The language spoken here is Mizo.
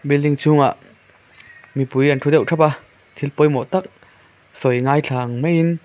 building chhung ah mipui an thu deuh thap a thil pawimawh tak sawi an ngaithla ang mai in.